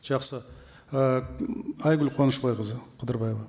жақсы і айгүл қуанышбайқызы қыдырбаева